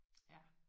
Ja